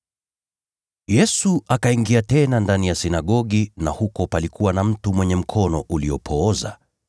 Yesu akaingia tena ndani ya sinagogi, na huko palikuwa na mtu aliyepooza mkono.